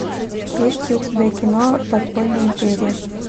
есть ли у тебя кино подпольная империя